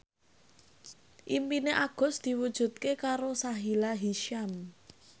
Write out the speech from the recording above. impine Agus diwujudke karo Sahila Hisyam